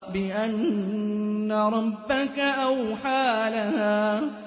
بِأَنَّ رَبَّكَ أَوْحَىٰ لَهَا